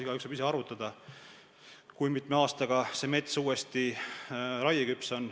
Igaüks võib ise arvutada, kui mitme aastaga on mets uuesti raieküps.